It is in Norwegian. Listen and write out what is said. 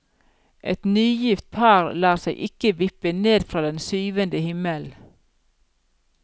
Et nygift par lar seg ikke vippe ned fra den syvende himmel.